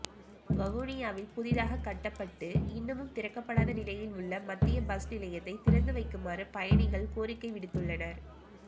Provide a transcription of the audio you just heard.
வவுனியாவில் புதிதாக கட்டப்பட்டு இன்னமும் திறக்கப்படாத நிலையில் உள்ள மத்திய பஸ் நிலையத்தை திறந்து வைக்குமாறு பயணிகள் கோரிக்கை விடுத்துள்ளனர்